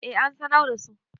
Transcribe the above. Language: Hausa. eh an sanar da su